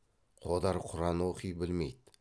қодар құран оқи білмейді